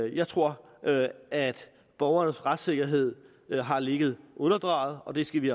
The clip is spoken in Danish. jeg tror at borgernes retssikkerhed har ligget underdrejet og det skal vi